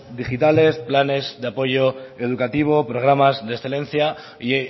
digitales planes de apoyo educativo programas de excelencia y